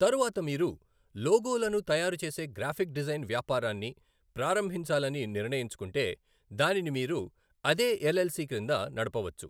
తరువాత మీరు లోగోలను తయారుచేసే గ్రాఫిక్ డిజైన్ వ్యాపారాన్ని ప్రారంభించాలని నిర్ణయించుకుంటే, దానిని మీరు అదే ఎల్ఎల్సి క్రింద నడపవచ్చు.